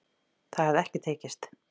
Það hafi ekki tekist